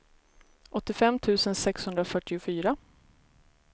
åttiofem tusen sexhundrafyrtiofyra